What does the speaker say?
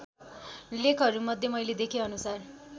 लेखहरूमध्ये मैले देखेअनुसार